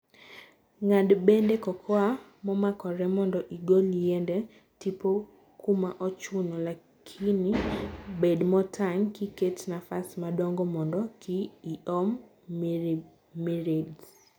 Ngad bede cocoa momakore mondo igol yiende tipo kuma ochuno- lakini bed motang kiket nafas madongo mondo kiiom mirids.